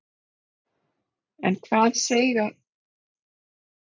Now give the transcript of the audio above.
En hvað segja eigendur hryssnanna?